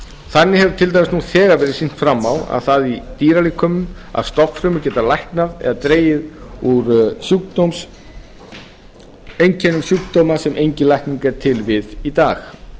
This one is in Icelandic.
þannig hefur til dæmis nú þegar verið sýnt fram á það í dýralíkömum að stofnfrumur geta læknað eða dregið úr einkennum sjúkdóma sem engin lækning er til við í dag